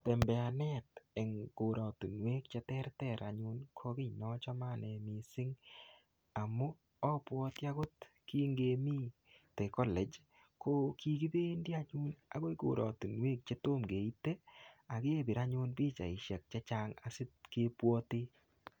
Tembeanet eng koratunwek che terter anyun ko kiy neachame missing. Amu abwati agot kingemite colege, ko kikibendi anyun akoi koratunwek chetom keite, akepir anyun pichaisiek chechang, asipkebwate.